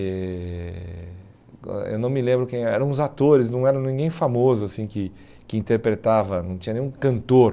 Eh eu não me lembro quem, eram uns atores, não era ninguém famoso assim que que interpretava, não tinha nenhum cantor.